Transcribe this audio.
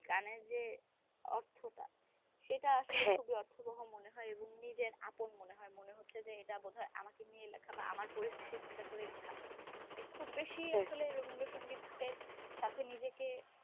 গানের যে অর্থটা সেটা আসলে খুব বহ মনে হয় এবং নিজের আপন মনে হয় মনে হচ্ছে যে এটা বোধ হয় আমাকে নিয়ে লেখা বা আমার পরিস্থিতি চিন্তা করেই লেখা খুব বেশি আসলে রবীন্দ্র সংগীতের সাথে নিজেকে